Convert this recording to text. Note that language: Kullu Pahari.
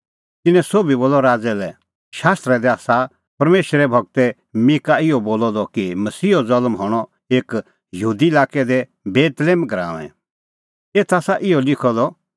तिन्नैं सोभी बोलअ राज़ै लै शास्त्रा दी आसा परमेशरे गूर मीका इहअ बोलअ द कि मसीहो ज़ल्म हणअ एऊ यहूदा लाक्कै दी बेतलेहम गराऊंऐं एथ आसा इहअ लिखअ द